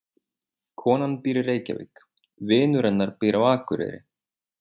Konan býr í Reykjavík. Vinur hennar býr á Akureyri.